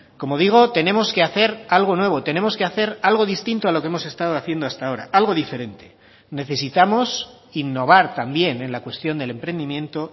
como digo tenemos que hacer algo nuevo tenemos que hacer algo distinto a lo que hemos estado haciendo hasta ahora algo diferente necesitamos innovar también en la cuestión del emprendimiento